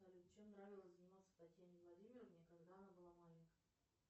салют чем нравилось заниматься татьяне владимировне когда она была маленькой